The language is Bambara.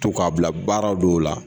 To k'a bila baara dɔw la.